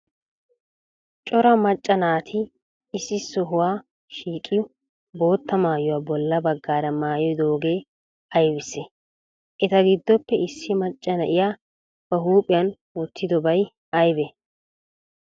Cora maccaa naati issi sohuwa shiiqidi botta maayuwa bolla baggara maayidogee aybissee? Eta giddoppe issi macaa naa'iya ba huphiyan wotidobaay aybee?